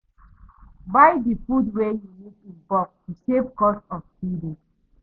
Buy di food wey you need in bulk to save cost of feeding